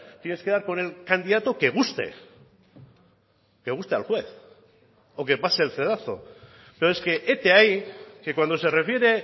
tienes que dar con el candidato que guste que guste al juez o que pase el cedazo pero es que hete ahí que cuando se refiere